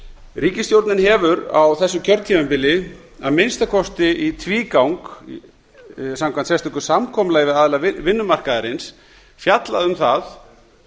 ríkisstjórnin hefur á þessu kjörtímabili að minnsta kosti í tvígang samkvæmt sérstöku samkomulagi við aðila vinnumarkaðarins fjallað um það